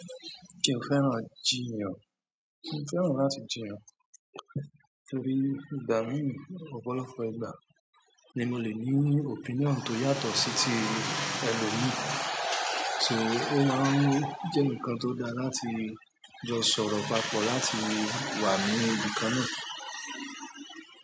Se o fẹ́ràn jiyàn? Mi fẹ́ràn láti jiyàn torí ìgbà mií ọ̀pọ̀lọpọ̀ ìgbà ni mo le ní opinion tó yàtọ̀ sí ti ẹlòmíì, so o máa ń jẹ́ ǹkan tó dáa láti jọ sọ̀rọ̀ papọ̀ láti wà ní ìbi kan náà.